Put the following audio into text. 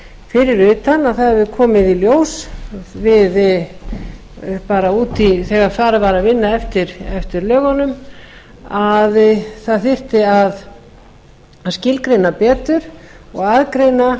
fyrir utan að það hefur komið í ljós þegar farið var að vinna eftir lögunum að það þyrfti að skilgreina betur og